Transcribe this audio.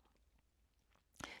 DR2